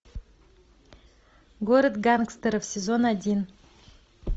город гангстеров сезон один